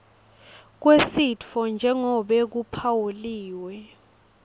kwesitfo njengobe kuphawuliwe